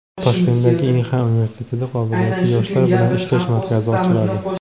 Toshkentdagi Inxa universitetida qobiliyatli yoshlar bilan ishlash markazi ochiladi.